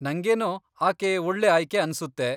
ನಂಗೇನೋ ಆಕೆ ಒಳ್ಳೆ ಆಯ್ಕೆ ಅನ್ಸುತ್ತೆ.